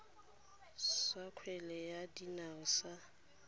sa kgwele ya dinao sa